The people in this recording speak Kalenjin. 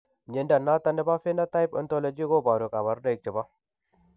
Mnyondo noton nebo Phenotype Ontology koboru kabarunaik chebo